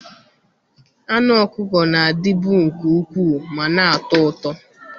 Anụ ọkụkọ na-adịbu nke ukwuu ma na-atọ ụtọ.